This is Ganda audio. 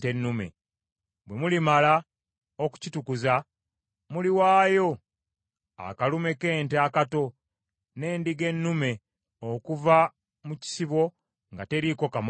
Bwe mulimala okukitukuza, muliwaayo akalume k’ente akato, n’endiga ennume okuva mu kisibo nga teriiko kamogo.